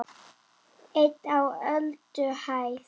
EIN Á ÖLDUHÆÐ